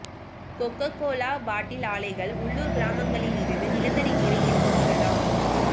cocoa Cola bottle ஆலைகள் உள்ளூர் கிராமங்களிலிருந்து நிலத்தடி நீரை எடுத்துக் கொள்ளலாம்